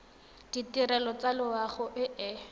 ditirelo tsa loago e e